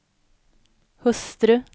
hustru